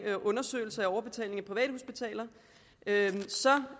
undersøgelse af overbetaling af privathospitaler altså